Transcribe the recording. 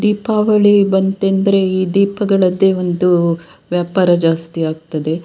ದೀಪಾವಳಿ ಬಂತೆಂದ್ರೆ ಈ ದೀಪಗಳದ್ದೆ ಒಂದು ವ್ಯಾಪಾರ ಜಾಸ್ತಿ ಆಗ್ತದೆ.